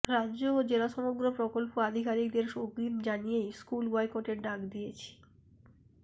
রাজ্য ও জেলা সমগ্র প্রকল্প আধিকারিকদের অগ্রিম জানিয়েই স্কুল বয়কটের ডাক দিয়েছি